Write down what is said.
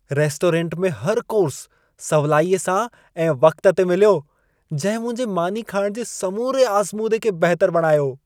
Restaurant में हर course सवलाईअ सां ऐं वक़्त ते मिलियो। जंहिं मुंहिंजे मानी खाइण जे समूरे आज़मूदे खे बहितर बणायो।